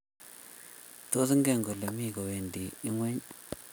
Tos, ingen kole mi kowendi ingweny?